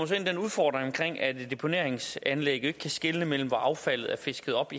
til den udfordring at et deponeringsanlæg ikke kan skelne mellem om affaldet er fisket op